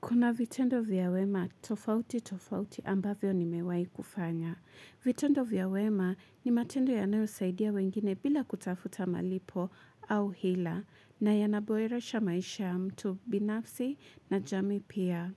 Kuna vitendo vya wema, tofauti tofauti ambavyo nimewai kufanya. Vitendo vya wema ni matendo yanayo saidia wengine bila kutafuta malipo au hila na yanaboyeresha maisha mtu binafsi na jami pia.